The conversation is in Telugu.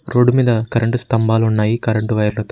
రోడ్డు మీద కరెంటు స్తంభాలు ఉన్నాయి కరెంటు వైర్లతో --